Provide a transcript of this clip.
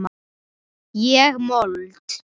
Ég mold.